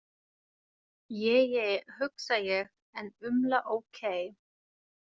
Je je, hugsa ég en umla ókei.